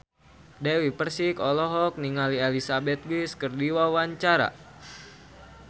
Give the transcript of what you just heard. Dewi Persik olohok ningali Elizabeth Gillies keur diwawancara